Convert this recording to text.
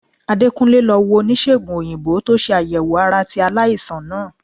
Adekunle lo wo onisegun oyinbo to se ayewo ara ti alaisan naa.